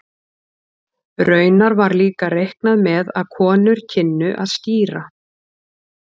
Raunar var líka reiknað með að konur kynnu að skíra.